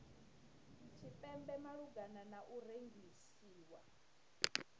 tshipembe malugana na u rengisiwa